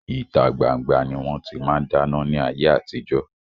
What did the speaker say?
Ìta gbangba ni wọn ti máa ń dáná ni ayé àtijọ́